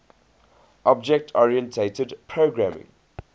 object oriented programming